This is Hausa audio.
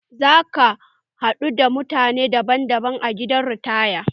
Za ka haɗu da mutane daban daban a gidan ritaya